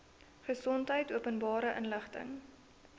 gesondheid openbare inligting